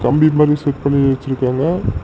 கம்பி மாதிரி செட் பண்ணி வச்சிருக்காங்க.